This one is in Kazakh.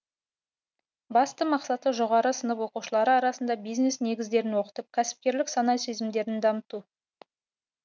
басты мақсаты жоғары сынып оқушылары арасында бизнес негіздерін оқытып кәсіпкерлік сана сезімдерін дамыту